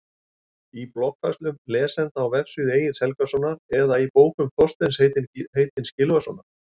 Í bloggfærslum lesenda á vefsíðu Egils Helgasonar eða í bókum Þorsteins heitins Gylfasonar?